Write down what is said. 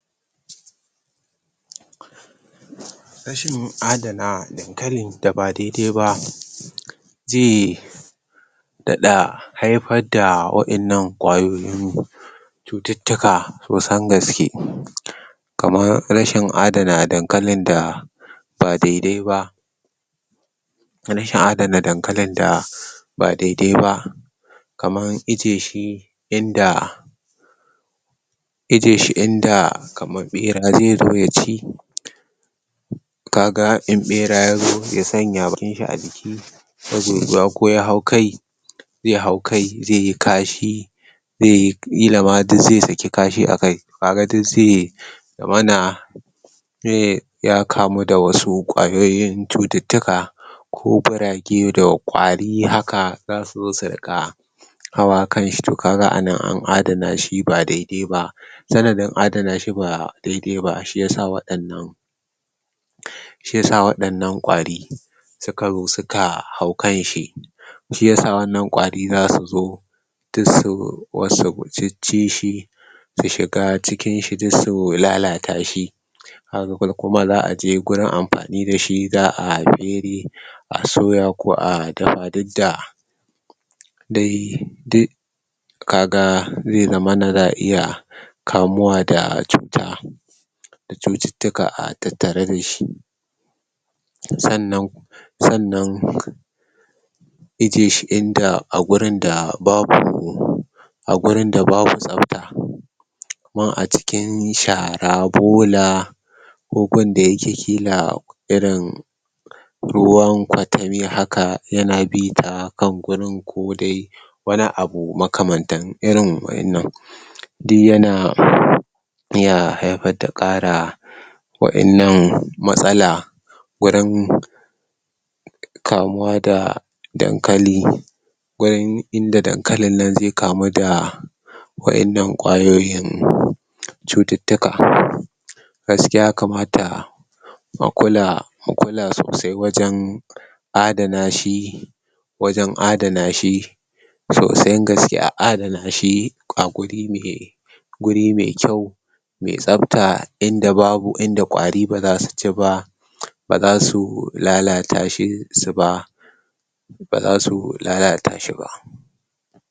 Rashin adana dankalin da ba dedaiba ze iya haifar da waɗannan ƙwayoyin cututtuka kusan gaske. Kaman rashin adana dankalin da ba dedaiba, karshi haɗa da dankalin da ba dedaiba kaman ijji yashi inda ijjiyeshi inda ɓera ze zo yaci. Kaga in ɓera yazo ya sanya bakinshi aciki, yazo ko ya hau kai, ze hau kai zeyi kashi kila ma duk ze saki kashi akai. Kaga duk ze rona, ze ya kamu da wasu ƙwayoyin cututtuka ko ƙurage da ƙwari. Haka zasu zo su rika hawa kanshi. To kaga anan an adana shi ba dedaiba, sanadin adanashi ba dedaiba shi yasa waɗannan ƙwari sukazo suka hau kanshi. Shi yasa waɗannan ƙwari zasu zo duk su zo su ciccishi su shiga cikinshi duk su lalatashi. Ha kuma za aje gurin amfani dashi kuma za a fere a soya ko a dafa duk da dai duk kaga ze zamana za a iya kamuwa da cuta da cututtuka tattare dashi. Sannan sannan ijjiyeshi inda a gurin da babu buhu a gurin da babu tsafta, domin a cikin bola ko gun da yake kila irin ruwan ƙwatami haka yana bita, gan gurin ko dai wani abu makan mantan. Irin wannan duk yana iya haifar da ƙara waɗannan matsala gurin kamuwa da dankali, gurin inda dankalin nan ze kamu da waɗannan ƙwayoyin cututtuka. Gaskiya ya kamata a kula a kula sosai wajen adana shi, wajen adanashi, so san gaske a adana shi a guri mai kyau mai tsafta inda ƙwari ba zasu ci ba bazasu lalatashi ba, ba zasu lalata shi ba.